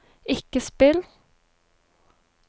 ikke spill